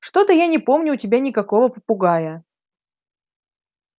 что-то я не помню у тебя никакого попугая